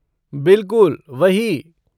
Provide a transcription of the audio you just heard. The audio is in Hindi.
बिलकुल, वही।